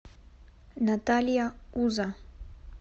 наталья уза